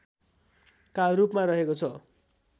का रूपमा रहेको छ